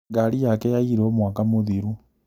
Ngari yake yairwo mwaka mũthiru